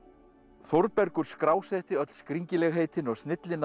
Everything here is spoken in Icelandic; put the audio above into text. Þórbergur skrásetti öll skringilegheitin og